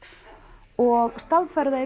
og staðfæra það